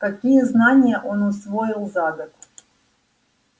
какие знания он усвоил за год